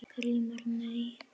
GRÍMUR: Nei?